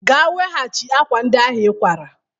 Gaa weghachi akwa ndị ahụ ịkwara!